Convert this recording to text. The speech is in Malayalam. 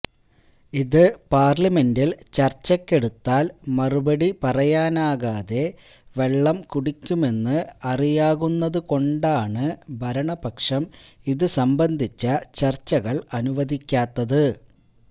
ഇത് പാര്ലിമെന്റില് ചര്ച്ചക്കെടുത്താല് മറുപടി പറയാനാകാതെ വെള്ളംകുടിക്കുമെന്ന് അറിയാകുന്നത് കൊണ്ടാണ് ഭരണപക്ഷം ഇതുസംബന്ധിച്ച ചര്ച്ചകള് അനുവദിക്കാത്തത്